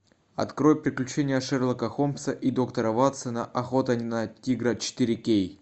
открой приключение шерлока холмса и доктора ватсона охота на тигра четыре кей